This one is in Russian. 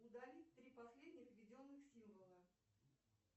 удалить три последних введенных символа